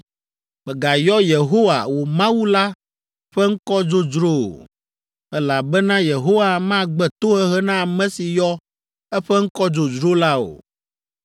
Mègayɔ Yehowa, wò Mawu la ƒe ŋkɔ dzodzro o, elabena Yehowa magbe tohehe na ame si yɔ eƒe ŋkɔ dzodzro la o.